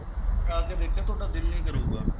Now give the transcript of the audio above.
ਉਹ ਖਾਕੇ ਦੇਖਿਓ ਤੁਹਾਡਾ ਦਿਲ ਨਹੀਂ ਕਰੂਗਾ